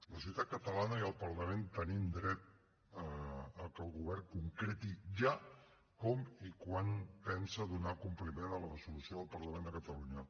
la societat catalana i el parlament tenim dret a que el govern concreti ja com i quan pensa donar compliment a la resolució del parlament de catalunya